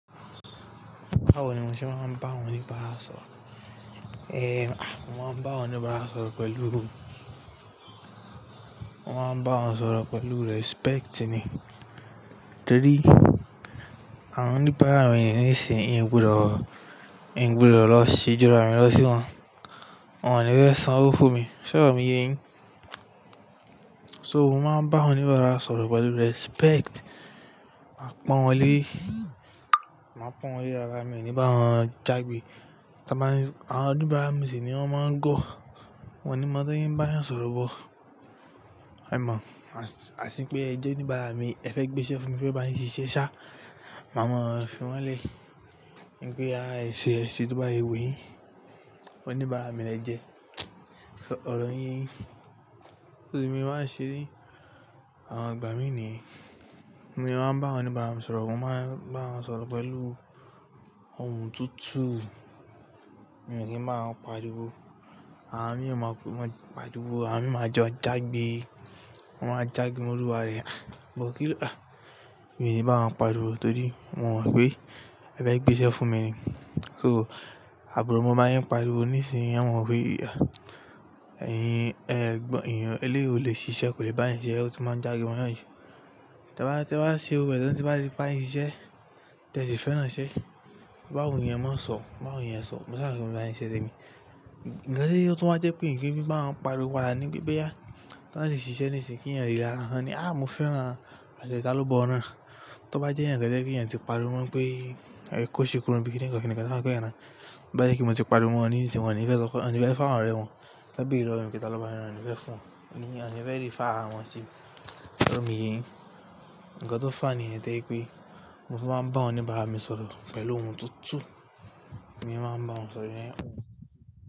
Báwo ni mo ṣe máa ń bá àwọn oníbàárà sọ̀rọ̀? Èè à, mo máa ń bá àwọn oníbàárà sọ̀rọ̀ pẹ̀lú, mo máa ń bá wọn sọ̀rọ̀ pẹ̀lú respect ni. Torí, àwọn oníbàárà mi ni isin yìí, n gbúdọ̀, n gbúdọ̀ lọ ṣe ju ara mi lọ sí wọn. Won ni fe sanwó fún mi, s'oro mi ye yin so mo máa ń bá àwọn oníbàárà sọ̀rọ̀ pẹ̀lú respect. Màá pọ̀n wọ́n lé, màá pọ̀n wọ́n lé ara mi o ní bá wọn jagbe. Ti won ba n. Àwọn oníbàárà mii sì nii, wọ́n má ń go. Wọn ní mo ti won se n bá eeyan sọ̀rọ̀ bọ̀. Ẹ mo, as pé ẹ jẹ́ oníbàárà mi, ẹ fẹ́ gbé iṣẹ́ fún mi, mo fẹ́ bá yin ṣiṣẹ́ ṣá, màá mọ̀ fí wọn lé. Ní pe boya ẹ ṣe, ẹ se to bá se wu yín, oníbàárà mi ni ẹ jẹ́. Ọ̀rọ̀ mi ye yín. Torí mo má n ṣeré, àwọn ìgbà mí ní bi mo máa ń bá àwọn oníbàárà mi sọ̀rọ̀, mo má ń bá wọn sọ̀rọ̀ pẹ̀lú ohùn tutu. Mi ò ní máa pariwo. Àwọn mii o máa pariwo, àwọn mii máa jo jagbe. Ti wọn á jagbe mo oluwa re. But kí, mi ò ní bá wọn pariwo torí mo mọ̀ pé, ẹ fẹ́ gbé iṣẹ́ fún mi ni. So àburo maa bá yín pariwo nísinyìí, e mọ̀ wo pé eléyii o lè ṣiṣẹ́, kò lè bá eeyan ṣiṣẹ́, ó ti má ń jagbe mo eeyàn ju tẹ ba, tẹ ba ṣe òwe lọ́tẹ ba ti bá yín ṣiṣẹ́, tẹ ti fẹ́ran iṣẹ́. Ba wùn yín ẹ máa ń sọ, bá wùn yín ẹ sọ, mo áà mo bá yín ṣiṣẹ́ ni. Ǹjẹ́ tí ó tún bá jẹ́ pé ń kín fi bá wọn pariwo padà ní bí bẹ́yàá, tẹ máa ṣì ṣiṣẹ́ nísìnyìí kí ẹ̀yin rí lára wọn ni "à mo fẹ́ran ẹ, àṣẹ taló bọ̀ ọ́n náà." Tẹ bá jẹ́ ẹ̀yán kan tó jẹ́ pé ẹ̀yán ti pariwo mọ́ pé ẹ̀ kóṣi kúrò nbi bíi kí ni ń kọ́ kí ni ká máa kọ́ ẹ náà. To bá jẹ́ pé mo ti pariwo mọ́ wọ́n nísinyìí, wọ́n ò ní fẹ́ san, wọ́n ò ní fẹ́ so fáwọn ọ̀rẹ́ wọn. Tẹ bi ìrọ̀rùn kí taló bá ẹ rán, wọ́n ò ní fẹ́ fún un. Ǹní wọ́n ò ní fẹ́ rí fá àwọn sí. Ṣé ọ̀rọ̀ mi ye yin? Ǹkan tó fà ni yẹn tó jẹ́ pé, mo fi man bá àwọn oníbàárà mi sọ̀rọ̀ pẹ̀lú ohùn tútù, ní mo fi má ń bawon sọ̀rọ̀.